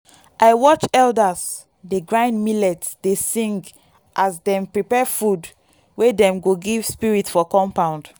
i watch elders dey grind millet dey sing as dem prepare food wey dem go give spirit for compound.